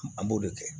An b'o de kɛ